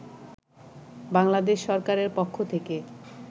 বাংলাদেশ সরকারের পক্ষ থেকে